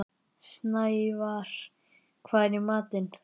Snævarr, hvað er í matinn?